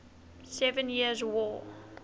seven years war